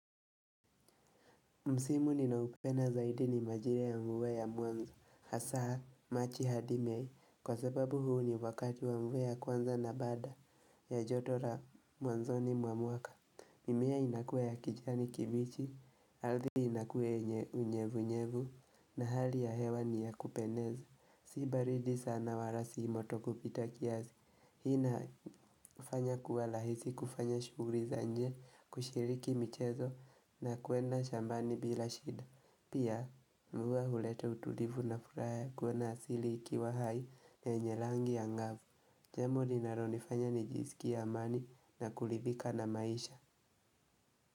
Msimu ninaupenda zaidi ni majira ya mvua ya mwanzo, hasaa, machi hadi mei, kwa sababu huu ni wakati wa mvua ya kwanza na bada ya joto la mwanzo ni mwa mwaka. Mimea inakuwa ya kijani kibichi, althi inakuwa yenye unyevunyevu, na hali ya hewa ni ya kupendeza. Sibaridi sana walasi moto kupita kiasi. Hii ina fanya kuwa lahisi kufanya shughuli za nje kushiriki michezo na kwenda shambani bila shida. Pia mvua huleta utulivu na furaha ya kuona asili ikiwa hai na yenye langi angavu. Jambo linalonifanya nijiskie amani na kulithika na maisha.